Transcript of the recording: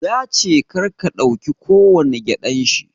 Yace karka dauki kowani gƴaɗan shi